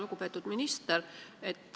Lugupeetud minister!